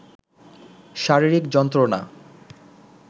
শারীরিক যন্ত্রণা